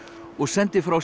og sendi frá sér